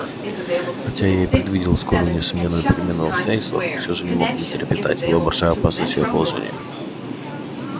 хотя я и предвидел скорую и несомненную перемену в обстоятельствах но все же не мог не трепетать воображая опасность её положения